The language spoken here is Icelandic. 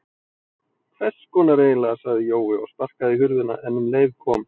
Hvess konar eiginlega sagði Jói og sparkaði í hurðina en um leið kom